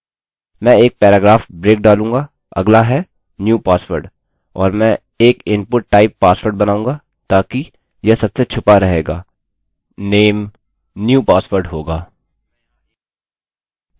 मैं एक paragraph break डालूँगा अगला है new password: और मैं एक इनपुट टाइप password बनाऊँगा ताकि यह सबसे छुपा रहेगा name new password होगा